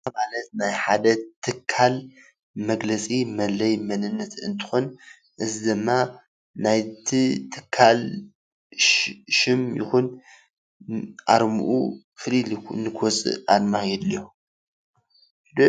ኣርማ ናይ ሓደ ትካል መግለፂ መለለይ መንነንት እንትኮን እዚ ድማ ናይቲ ትካል ሽም ይኩን ኣርምኡ ፍልይ ኢሉ ንክወፅእ ኣርማ የድልዮ።